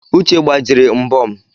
Uche gbajiri mbo m